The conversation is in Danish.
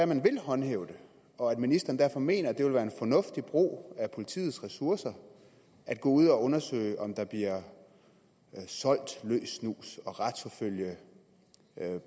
man vil håndhæve det og at ministeren derfor mener at det vil være en fornuftig brug af politiets ressourcer at gå ud og undersøge om der bliver solgt løs snus og retsforfølge